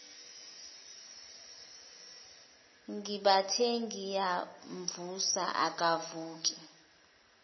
ngibathe ngiyamvusa akavuki